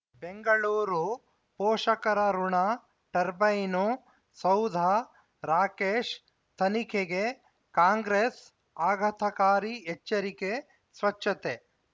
ಬೆಂಗಳೂರು ಪೋಷಕರಋಣ ಟರ್ಬೈನು ಸೌಧ ರಾಕೇಶ್ ತನಿಖೆಗೆ ಕಾಂಗ್ರೆಸ್ ಆಘಾತಕಾರಿ ಎಚ್ಚರಿಕೆ ಸ್ವಚ್ಛತೆ